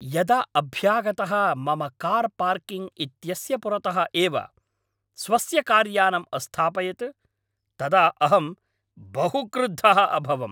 यदा अभ्यागतः मम कार् पार्किङ्ग् इत्यस्य पुरतः एव स्वस्य कार्यानम् अस्थापयत् तदा अहं बहु क्रुद्धः अभवम्।